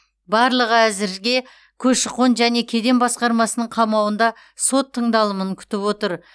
барлығы әзірге көші қон және кеден басқармасының қамауында сот тыңдалымын күтіп отыр